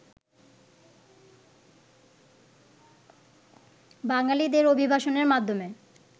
বাঙালিদের অভিবাসনের মাধ্যমে